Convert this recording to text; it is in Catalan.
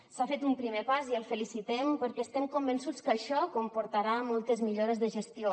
s’ha fet un primer pas i el felicitem perquè estem convençuts que això comportarà moltes millores de gestió